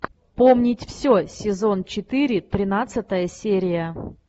помнить все сезон четыре тринадцатая серия